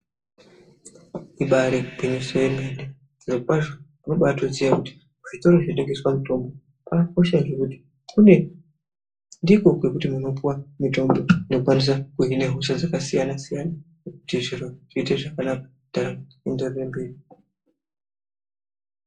Ibairi gwinyiso ye mene zviro kwazvo unotobai ziya kuti zvitoro zvino tengeswa mitombo zvaka kosha ngekuti ndiko kwekuti mu kwanisa kupuwe mitombo ino hina hosha dzaka siyana siyana kuti zviro zviite zvakanaka ndaramo ienderere mberi.